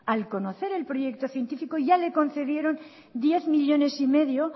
al conocer el proyecto científico ya le concedieron diez millónes y medio